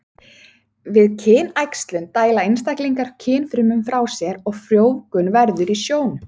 Við kynæxlun dæla einstaklingar kynfrumum frá sér og frjóvgun verður í sjónum.